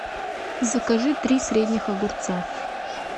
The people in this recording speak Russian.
закажи три средних огурца